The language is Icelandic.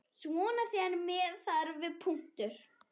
Svona þegar með þarf.